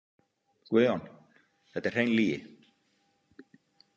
Guðjón: „Þetta er hrein lýgi“